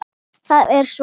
Það er svo gott!